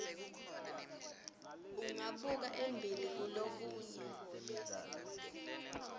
ungabuka embili kulokunye